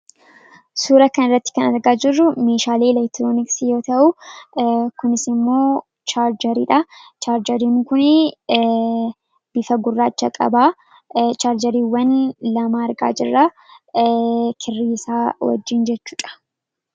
suura kan irratti kan argaa jirru miishaalii ileektroonisi yoo ta'uu kunisimmoo chaarjariidha chaarjariin kun bifa gurraacha qabaa chaarjariiwwan lama argaa jirraa kirriisaa wajjiin jechuudha